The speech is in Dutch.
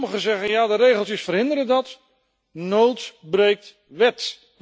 Sommigen zeggen dat de regeltjes dat verhinderen, maar nood breekt wet.